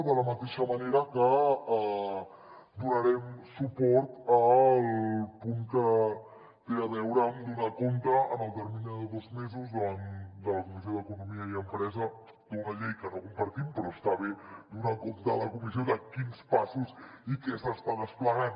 de la mateixa manera que donarem suport al punt que té a veure amb donar compte en el termini de dos mesos davant de la comissió d’economia i empresa d’una llei que no compartim però està bé donar compte a la comissió de quins passos i què s’està desplegant